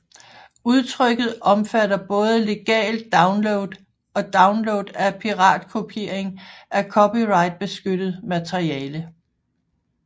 Udtrykket omfatter både legal download og download af piratkopiering af copyrightbeskyttet materiale